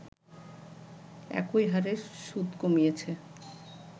একই হারে সুদ কমিয়েছে